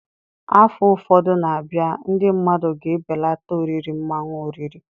Afọ ụfọdụ na-abịa, ndị mmadụ ga-ebelata oriri mmanụ oriri